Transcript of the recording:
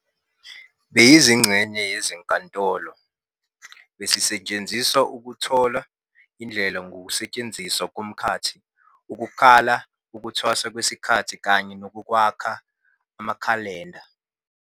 Beziyingxenye yezenkolo, bezisetshenziswa ukuthola indlela ngokusetshenziswa komkhathi, ukukala ukuthwasa kwesikhathi, kanye nokwakha amakhalenda.